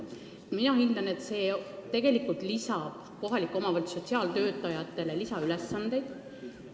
Mina hindan, et see tegelikult lisab omavalitsuse sotsiaaltöötajatele lisaülesandeid.